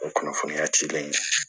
O kunnafoniya cilen